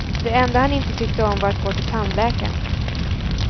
Det enda han inte tyckte om var att gå till tandläkaren.